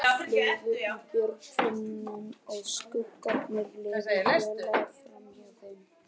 Fuglar flugu í björgunum og skuggarnir liðu hljóðlaust framhjá þeim.